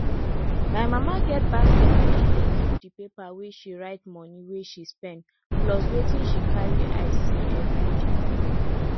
my mama get basket wey she dey keep di paper where she write moni wey she spend plus wetin she carry eye see everiday